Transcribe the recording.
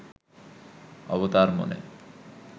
অবতার মনে